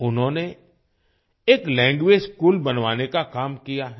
उन्होंने एक language school बनवाने का काम किया है